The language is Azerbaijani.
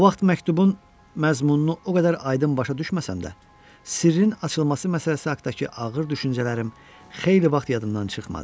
O vaxt məktubun məzmununu o qədər aydın başa düşməsəm də, sirrin açılması məsələsi haqdakı ağır düşüncələrim xeyli vaxt yadımdan çıxmadı.